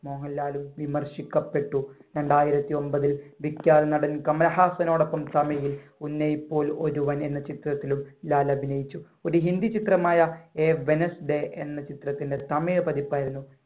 മോഹൻലാലും വിമർശിക്കപ്പെട്ടു. രണ്ടായിരത്തി ഒൻപതിൽ വിഖ്യാത നടൻ കമലഹാസനോടൊപ്പം തമിഴിൽ ഉന്നയിപ്പോൽ ഒരുവൻ എന്ന ചിത്രത്തിലും ലാൽ അഭിനയിച്ചു. ഒരു ഹിന്ദി ചിത്രമായ a wednesday എന്ന ചിത്രത്തിന്‍റെ തമിഴ് പതിപ്പായിരുന്നു.